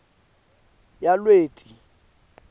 yalweti